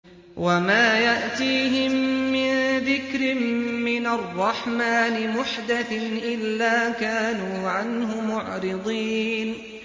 وَمَا يَأْتِيهِم مِّن ذِكْرٍ مِّنَ الرَّحْمَٰنِ مُحْدَثٍ إِلَّا كَانُوا عَنْهُ مُعْرِضِينَ